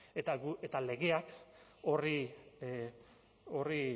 eta legeak